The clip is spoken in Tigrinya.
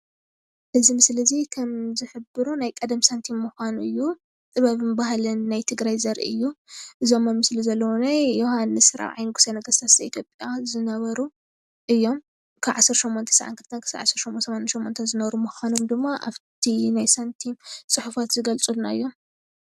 እዚ ምስሊ እዚ ከምዝሕብሮ ናይ ቀደም ሳንቲም ምኻኑ እዩ፡፡ ጥበብን ባህሊን ናይ ትግራይ ዘርኢ እዩ፡፡ እዞም አብ ምስሊ ዘለው እውነይ ዮሃንስ ፬ይ ንጉሰ ነገስ ዘኢትዮጵያ ዝነበሩ እዮም፡፡ ከብ 1892-1988 ዝነበሩ ምኻኖም ድማ አብቲ ናይ ሳንቲም ፁሑፋት ዝገልፁልና እዮም፡፡